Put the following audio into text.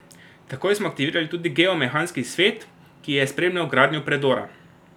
Takoj smo aktivirali tudi geomehanski svet, ki je spremljal gradnjo predora.